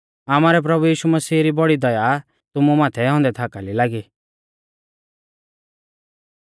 आमारै प्रभु यीशु मसीह री बौड़ी दया तुमु माथै औन्दै थाकाली लागी